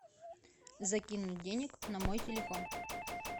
закинуть денег на мой телефон